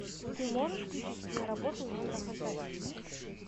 ты можешь включить киноработу жанра фантастика